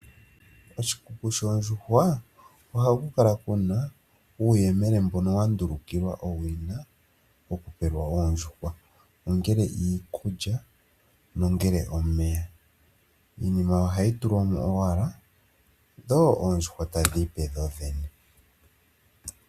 Koshikuku shoondjuhwa ohaku kala kuna uuyemele mbono wa ndulukilwa owina oku pelwa oondjuhwa ongele iikulya nenge omeya. Iinima ohayi tulwa mo owala dho oondjuhwa tadhiipe dho dhene.